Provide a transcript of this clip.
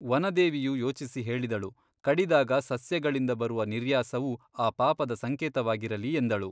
ವನದೇವಿಯು ಯೋಚಿಸಿ ಹೇಳಿದಳು ಕಡಿದಾಗ ಸಸ್ಯಗಳಿಂದ ಬರುವ ನಿರ್ಯಾಸವು ಆ ಪಾಪದ ಸಂಕೇತವಾಗಿರಲಿ ಎಂದಳು.